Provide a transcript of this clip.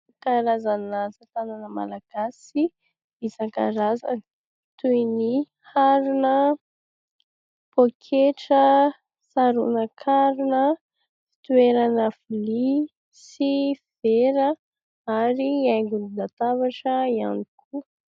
Karazana asatanana malagasy isankarazany toy ny harona, poketra, saronan-karona, fitoerana vilia sy vera ary haingon-databatra ihany koa.